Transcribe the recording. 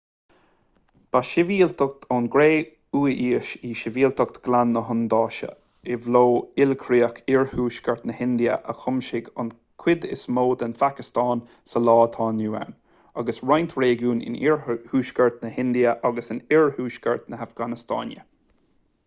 ba shibhialtacht ón gcré-umhaois í sibhialtacht ghleann na hiondúise i bhfo-ilchríoch iarthuaisceart na hindia a chuimsigh an chuid is mó den phacastáin sa lá atá inniu ann agus roinnt réigiún in iarthuaisceart na hindia agus in oirthuaisceart na hafganastáine